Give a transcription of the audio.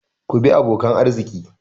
Ku bi abokan arziki!